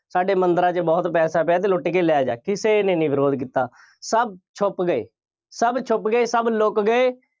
ਸਾਡੇ ਮੰਦਿਰਾਂ 'ਚ ਬਹੁਤ ਪੈਸਾ ਪਿਆ ਅਤੇ ਲੁੱਟ ਕੇ ਲੈ ਜਾ, ਕਿਸੇ ਨੇ ਨਹੀਂ ਵਿਰੋਧ ਕੀਤਾ। ਸਭ ਛੁੱਪ ਗਏ। ਸਭ ਛੁੱਪ ਗਏ। ਸਭ ਲੁੱਕ ਗਏ।